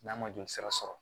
N'a ma jolisira sɔrɔ